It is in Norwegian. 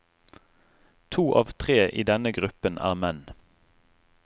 To av tre i denne gruppen er menn.